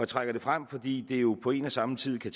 trækker det frem fordi det jo på en og samme tid kan